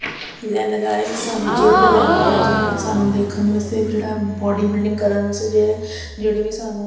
ਲਗਾ ਰਹੇ ਸਾਨੂੰ ਜਿਮ ਨਜ਼ਰ ਆ ਰਿਹਾ ਜੀਮ ਵੀ ਸਾਨੂੰ ਦੇਖਣ ਵਾਸਤੇ ਜਿਹੜਾ ਬਾਡੀ ਬਿਲਡਿੰਗ ਕਰਨ ਵਾਸਤੇ ਜਿਹੜੇ ਵੀ ਸਾਨੂੰ।